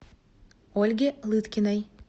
ольге лыткиной